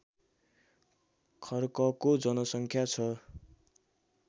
खर्कको जनसङ्ख्या छ